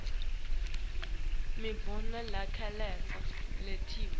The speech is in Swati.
imibono levakalako iniketwe